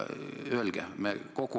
Öelge!